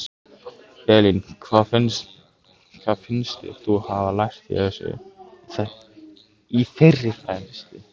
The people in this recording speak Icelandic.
Elín: Hvað finnst þér þú hafa lært í þeirri fræðslu?